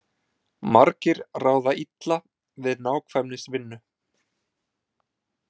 Margir ráða illa við nákvæmnisvinnu.